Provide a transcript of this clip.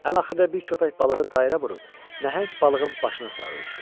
Ən axırda bir köpək balığı dairə vurub nəhəng balığın başına sarı üzdü.